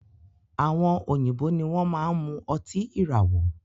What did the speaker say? Àwọn òyìnbó ní wọn máa n mú ọtí ìràwọ̀